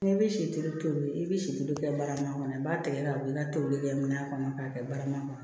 N'i bi si tobi tobili i bi si tobi kɛ barama kɔnɔ i b'a tigɛ ka wili i ka toli kɛ mina kɔnɔ k'a kɛ barama kɔnɔ